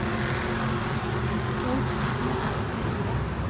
tolv tusen og åttifire